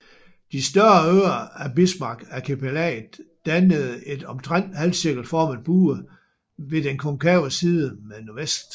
De større øer af Bismarckarkipelaget dannede en omtrent halvcirkelformet bue med den konkave side mod nordvest